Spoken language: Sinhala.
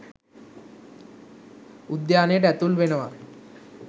උද්‍යානයට ඇතුල් වෙනවා